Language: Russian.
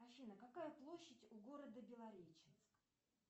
афина какая площадь у города белореченск